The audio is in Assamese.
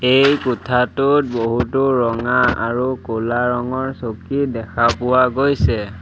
এই কোঠটোত বহুতো ৰঙা আৰু ক'লা ৰঙৰ চকী দেখা পোৱা গৈছে।